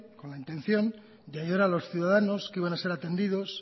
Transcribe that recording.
con la intención de ayudar a los ciudadanos que iban a ser atendidos